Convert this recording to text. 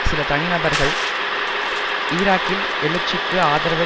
சில தனி நபர்கள் ஈராக்கில் எழுச்சிக்கு ஆதரவு